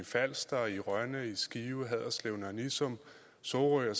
falster rønne skive haderslev nørre nissum sorø og